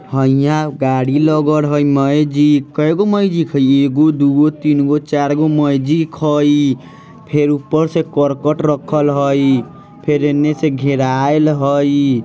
हाइयाँ गाड़ी लगल हई मैजिक कईगो मैजिक हई एगो दुगो तीनगो चरगो मैजिक हई फिर ऊपर से करकट रखल हई फिर एन्ने से घेराइल हई।